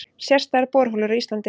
Sérstæðar borholur á Íslandi